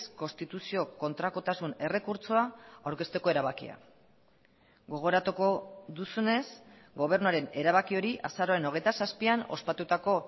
konstituzio kontrakotasun errekurtsoa aurkezteko erabakia gogoratuko duzunez gobernuaren erabaki hori azaroaren hogeita zazpian ospatutako